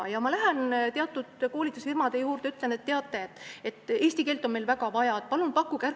Ja siis ma lähen koolitusfirmadesse, ütlen, et teate, eesti keele õpet on meil väga vaja, palun pakkuge seda.